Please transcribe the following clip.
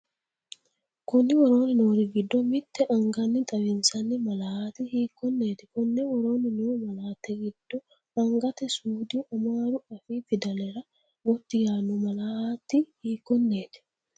Konni woroonni noori giddo mitte anganni xawinsanni malaati hiik- konneeti? Konni woroonni noo malaatta giddo angate suudi amaaru afii fidalera gotti yaanno malaati hiikkonneeti?